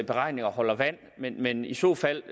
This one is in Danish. beregninger holder vand men i så fald